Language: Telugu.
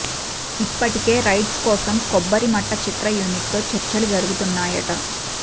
ఇప్పటికే రైట్స్ కోసం కొబ్బరిమట్ట చిత్ర యూనిట్ తో చర్చలు జరుగుతున్నాయట